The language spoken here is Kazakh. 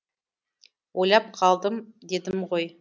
ойлап қалдым дедім ғой